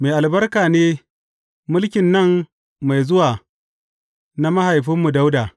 Mai albarka ne mulkin nan mai zuwa na mahaifinmu Dawuda!